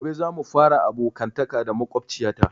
Gobe za mu fara abokantaka da makwabciya ta